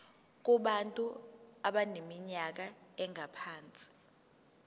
kubantu abaneminyaka engaphansi